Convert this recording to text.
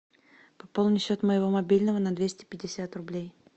пополнить счет моего мобильного на двести пятьдесят рублей